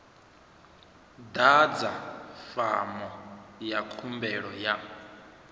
ḓadza fomo ya khumbelo ya